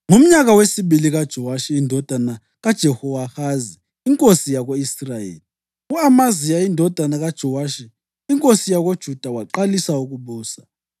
Ngomnyaka wesibili kaJowashi indodana kaJehowahazi inkosi yako-Israyeli, u-Amaziya indodana kaJowashi inkosi yakoJuda waqalisa ukubusa.